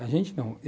A gente não.